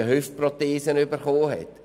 der unnötig eine Prothese bekommen hat.